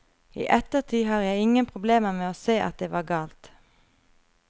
I ettertid har jeg ingen problemer med å se at det var galt.